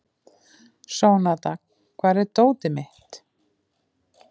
Sónata, hvar er dótið mitt?